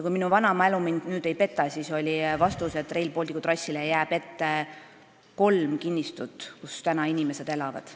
Kui mu vana mälu mind ei peta, siis oli vastus, et Rail Balticu trassile jääb ette kolm kinnistut, kus inimesed praegu elavad.